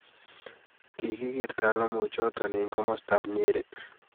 kikigeer talamoichoto eng komodtab Nyeri